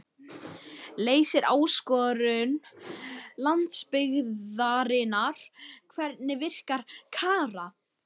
Leysir áskorun landsbyggðarinnar Hvernig virkar Kara?